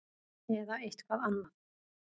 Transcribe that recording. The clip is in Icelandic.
Eða eitthvað annað?